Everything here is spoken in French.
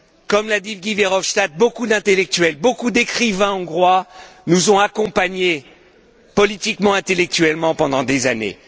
Comme l'a dit Guy Verhofstadt, beaucoup d'intellectuels, beaucoup d'écrivains hongrois nous ont accompagnés politiquement, intellectuellement, pendant des années.